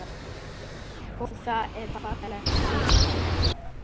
Og það er fallegt hugtak.